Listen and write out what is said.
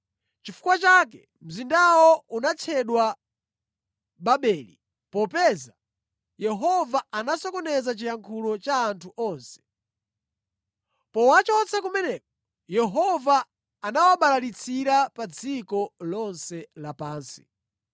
Nʼchifukwa chake mzindawo unatchedwa Babeli, popeza Yehova anasokoneza chiyankhulo cha anthu onse. Powachotsa kumeneko, Yehova anawabalalitsira pa dziko lonse lapansi.